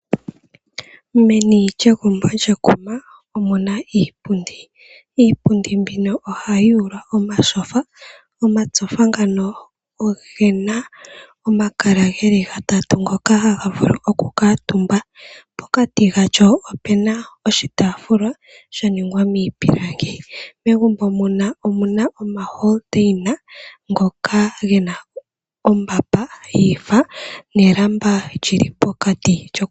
Meni lyegumbo kyekuma omuna iipundi, iipundi mbino ohayi ithanwa omatyofa. Omatyofa ngano ogena omakala ngono geli gatatu haga vulu oku kuutumbwa pokati galyo opena oshitaafula shaningwa miipilangi. Megumbo omuna omalapi gopomakende ngono gena ombamba yiifa nelamba lyili pokati.